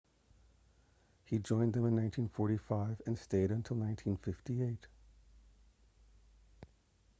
he joined them in 1945 and stayed until 1958